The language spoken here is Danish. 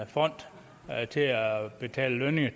fond til at betale lønninger